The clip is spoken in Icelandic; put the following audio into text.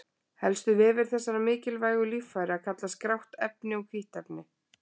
Helstu vefir þessara mikilvægu líffæra kallast grátt efni og hvítt efni.